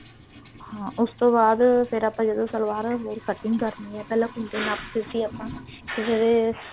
ਹਾਂ ਫ਼ੇਰ ਉਸ ਤੋਂ ਬਾਅਦ ਫ਼ੇਰ ਆਪਾਂ ਸਲਵਾਰ ਹੋਰ cutting ਕਰਨੀ ਹੈ ਪਹਿਲਾਂ ਕੁੰਡੇ ਨਾਪ ਦੇ ਸੀ ਆਪਾਂ ਤੇ ਫ਼ੇਰ